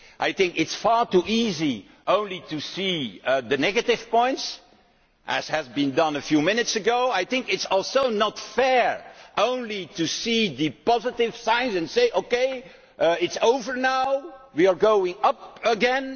It is far too easy only to see the negative points, as has been done a few minutes ago but it is also not fair only to see the positive signs and say, OK, it is over now, we are going up again.